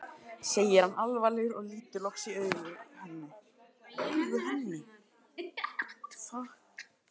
segir hann alvarlegur og lítur loks í augu henni.